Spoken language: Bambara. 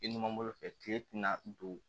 I ni mun bolo fɛ kile tina don